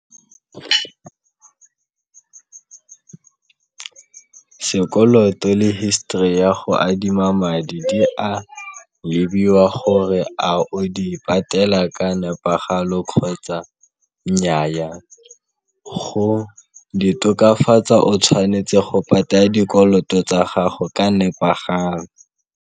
Sekoloto le history ya go adima madi di a lebiwa gore a o di patela ka nepagalo kgotsa nnyaa. Go di tokafatsa o tshwanetse go patela dikoloto tsa gago ka nepagalo.